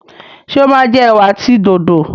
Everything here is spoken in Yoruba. ṣe o ma jẹ ewa àti dòdo?